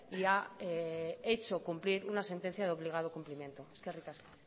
y ha hecho cumplir una sentencia de obligado cumplimiento eskerrik asko